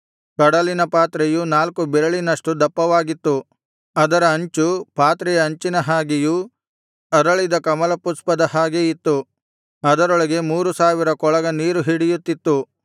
ಕಡಲಿನ ಪಾತ್ರೆಯು ನಾಲ್ಕು ಬೆರಳಿನಷ್ಟು ದಪ್ಪವಾಗಿತ್ತು ಅದರ ಅಂಚುಪಾತ್ರೆಯ ಅಂಚಿನ ಹಾಗೆಯೂ ಅರಳಿದ ಕಮಲಪುಷ್ಪದ ಹಾಗೆ ಇತ್ತು ಅದರೊಳಗೆ ಮೂರು ಸಾವಿರ ಕೊಳಗ ನೀರು ಹಿಡಿಯುತ್ತಿತ್ತು